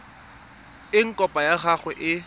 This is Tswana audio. eng kopo ya gago e